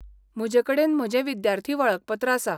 म्हजेकडेन म्हजें विद्यार्थी वळखपत्र आसा.